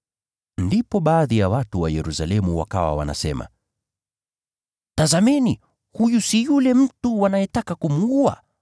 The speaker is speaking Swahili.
Ndipo baadhi ya watu wa Yerusalemu wakawa wanasema, “Tazameni, huyu si yule mtu wanayetaka kumuua?